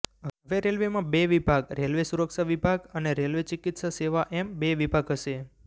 હવે રેલવેમાં બે વિભાગ રેલવે સુરક્ષા વિભાગ અને રેલવે ચિકિત્સા સેવા એમ બે વિભાગ હશે